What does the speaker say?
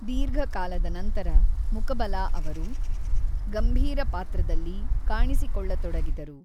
ದೀರ್ಘಕಾಲದ ನಂತರ ಮುಕಬಲಾ ಅವರು ಗಂಭೀರ ಪಾತ್ರದಲ್ಲಿ ಕಾಣಿಸಿಕೊಳ್ಳತೊಡಗಿದರು.